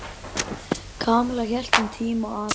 Kamilla hélt um tíma að